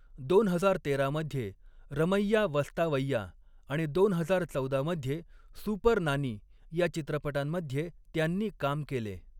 दोन हजार तेरा मध्ये 'रमैय्या वस्तावय्या' आणि दोन हजार चौदा मध्ये 'सुपर नानी' या चित्रपटांमध्ये त्यांनी काम केले.